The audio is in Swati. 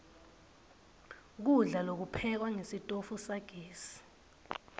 kudla lokuphekwa ngesitofu sagesi